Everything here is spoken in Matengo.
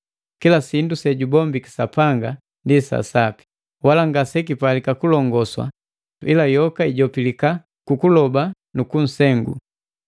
Kila sindu sejubombiki Sapanga ndi sapi, wala ngasekipalika kulongoswa ila yoka ijopilika kukuloba nuku nsengu,